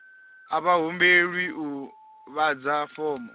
a vha humbelwi u ḓadza fomo